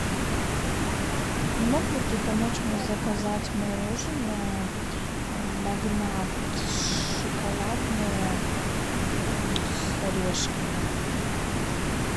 не мог бы ты помочь мне заказать мороженое магнат шоколадное с орешками